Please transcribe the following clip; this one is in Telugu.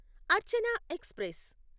అర్చన ఎక్స్ప్రెస్